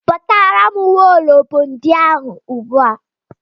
Kpọtara m nwaologbo ndia ugbua